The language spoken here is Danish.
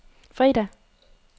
fredag